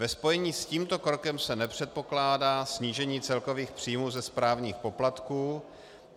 Ve spojení s tímto krokem se nepředpokládá snížení celkových příjmů ze správních poplatků.